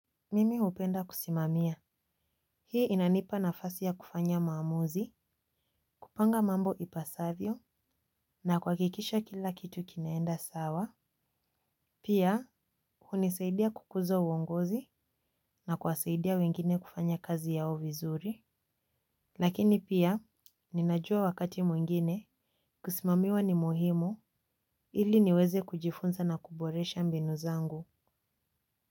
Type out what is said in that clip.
Mimi hupenda kusimamia. Hii inanipa nafasi ya kufanya maamuzi, kupanga mambo ipasavyo na kuhakikisha kila kitu kinaenda sawa. Pia, hunisaidia kukuza uongozi, na kuwasaidia wengine kufanya kazi yao vizuri. Lakini pia, ninajua wakati mwengine, kusimamiwa ni muhimu, ili niweze kujifunza na kuboresha mbinu zangu.